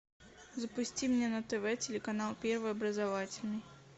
запусти мне на тв телеканал первый образовательный